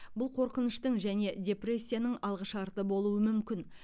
бұл қорқыныштың және депрессияның алғышарты болуы мүмкін